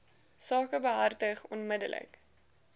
saak behartig onmiddellik